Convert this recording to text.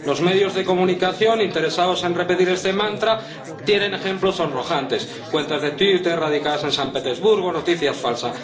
Los medios de comunicación interesados en repetir este mantra tienen ejemplos sonrojantes cuentas de Twitter radicadas en San Petersburgo, noticias falsas.